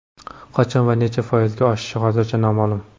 Qachon va necha foizga oshishi hozircha noma’lum.